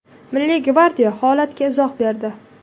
Milliy gvardiya holatga izoh berdi.